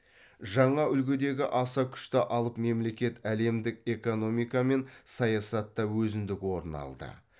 жаңа үлгідегі аса күшті алып мемлекет әлемдік экономика мен саясатта өзіндік орын алды